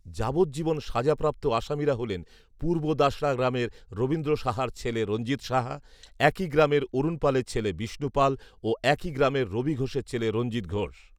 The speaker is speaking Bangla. যাবজ্জীবন সাজাপ্রাপ্ত আসামিরা হলেন, পূর্বদাশড়া গ্রামের রবীন্দ্র সাহার ছেলে রঞ্জিত সাহা, একই গ্রামের অরুণ পালের ছেলে বিষ্ণু পাল ও একই গ্রামের রবি ঘোষের ছেলে রঞ্জিত ঘোষ